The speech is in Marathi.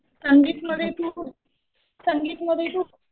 संगीत मध्ये तू, संगीत मध्ये तू